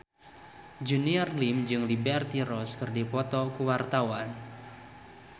Junior Liem jeung Liberty Ross keur dipoto ku wartawan